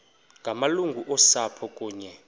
ngamalungu osapho kunye